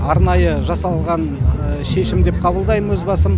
арнайы жасалынған шешім деп қабылдаймын өз басым